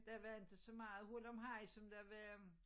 Der var ikke så meget hurlumhej som der var øh